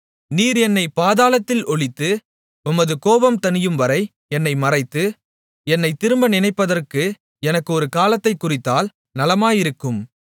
நீர் என்னைப் பாதாளத்தில் ஒளித்து உமது கோபம் தணியும்வரை என்னை மறைத்து என்னைத் திரும்ப நினைப்பதற்கு எனக்கு ஒரு காலத்தைக் குறித்தால் நலமாயிருக்கும்